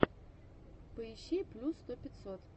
поищи плюс сто пятьсот